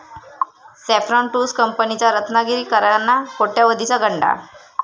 saffron tours कंपनीचा रत्नागिरीकरांना कोट्यावधीचा गंडा